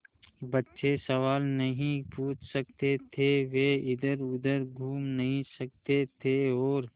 बच्चे सवाल नहीं पूछ सकते थे वे इधरउधर घूम नहीं सकते थे और